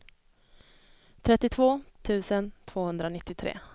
trettiotvå tusen tvåhundranittiotre